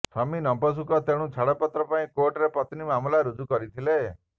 ସ୍ୱାମୀ ନପୁଂସକ ତେଣୁ ଛାଡ଼ପତ୍ର ପାଇଁ କୋର୍ଟରେ ପତ୍ନୀ ମାମଲା ରୁଜୁ କରିଥିଲେ